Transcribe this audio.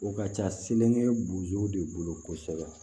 O ka ca seleke bozow de bolo kosɛbɛ